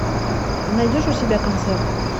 ты найдешь у себя концерт